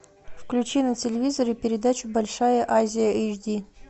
включи на телевизоре передачу большая азия эйч ди